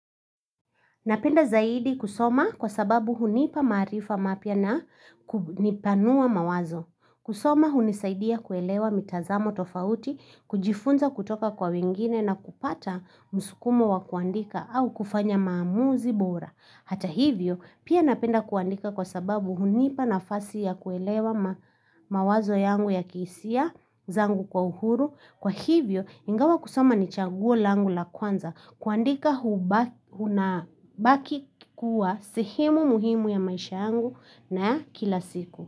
Napenda zaidi kusoma kwa sababu hunipa maarifa mapya na kunipanua mawazo. Kusoma hunisaidia kuelewa mitazamo tofauti, kujifunza kutoka kwa wengine na kupata musukumo wa kuandika au kufanya maamuzi bora. Hata hivyo, pia napenda kuandika kwa sababu hunipa nafasi ya kuelewa mawazo yangu ya kihisia zangu kwa uhuru. Kwa hivyo, ingawa kusoma ni chaguo langu la kwanza kuandika kunabaki kuwa sehemu muhimu ya maisha yangu na ya kila siku.